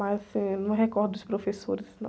Mas, assim, eu não recordo dos professores, não.